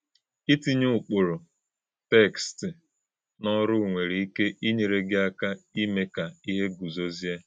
Ìtínyē ụ̀kpụrụ̄ tékst n’ọ́rụ̀ nwere íké ínyèrè̄ gị̄ àkà̄ ímè̄ kà íhè̄ gúzòzíè̄.